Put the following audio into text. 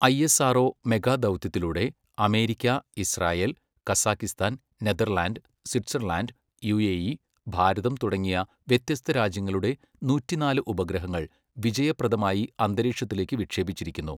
ISRO മെഗാദൗത്യത്തിലൂടെ America, Israel, Kazakhstan, Netherland, Switzerland, UAE, ഭാരതം തുടങ്ങിയ വ്യത്യസ്ത രാജ്യങ്ങളുടെ നൂറ്റിനാല് ഉപഗ്രഹങ്ങൾ വിജയപ്രദമായി അന്തരീക്ഷത്തിലേക്ക് വിക്ഷേപിച്ചിരിക്കുന്നു.